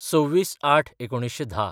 २६/०८/१९१०